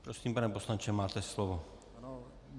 Prosím, pane poslanče, máte slovo.